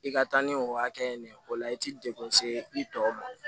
I ka taa ni o hakɛ ye nin ye o la i tɛ degun se i tɔw ma